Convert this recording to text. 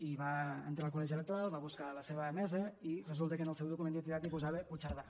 i va entrar al col·legi electoral va buscar la seva mesa i resulta que en el seu document d’identitat hi posava puigcerdà